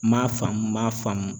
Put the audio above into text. N m'a faamu n b'a faamu